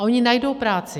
A oni najdou práci.